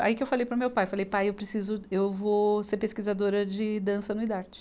Aí que eu falei para o meu pai, falei, pai, eu preciso, eu vou ser pesquisadora de dança no idarte.